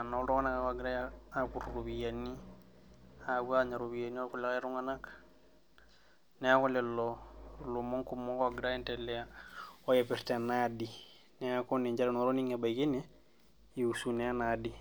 inltung'anak ake oogira apuru iropiyiani aapuo aanya iropiyiani oorkulie tung'anak neeku lelo ilomon kumok oogira aendelea oipirta ena aadi neeku ninche nanu atonig'o oipirta ena adi.